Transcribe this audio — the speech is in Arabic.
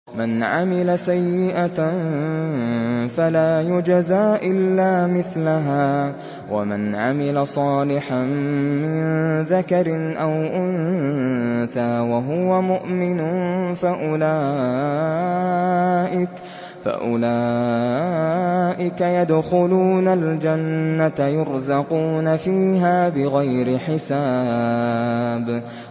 مَنْ عَمِلَ سَيِّئَةً فَلَا يُجْزَىٰ إِلَّا مِثْلَهَا ۖ وَمَنْ عَمِلَ صَالِحًا مِّن ذَكَرٍ أَوْ أُنثَىٰ وَهُوَ مُؤْمِنٌ فَأُولَٰئِكَ يَدْخُلُونَ الْجَنَّةَ يُرْزَقُونَ فِيهَا بِغَيْرِ حِسَابٍ